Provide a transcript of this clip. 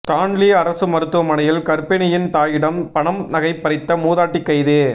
Stanley அரசு மருத்துவமனையில் கர்ப்பிணியின் தாயிடம் பணம் நகை பறித்த மூதாட்டி கைது